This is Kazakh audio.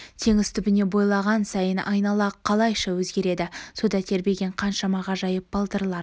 теңіз түбіне бойлаған сайын айнала қалайша өзгереді суда тербелген қаншама ғажайып балдырлар